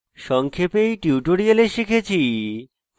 সংক্ষেপে in tutorial শিখেছি